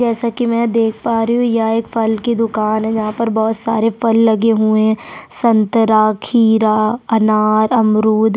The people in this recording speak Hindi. जैसा की मैं देख पा रही हूँ यहाँ एक फल की दुकान है जहा पर बहुत सारे फल लगे हुए है संतरा खीरा अनारा अमरुद --